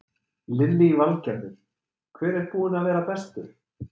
Lillý Valgerður: Hver er búinn að vera bestur?